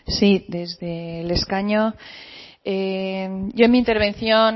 sí desde el escaño yo en mi intervención